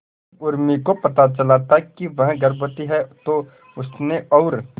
जब उर्मी को पता चला था वह गर्भवती है तो उसने और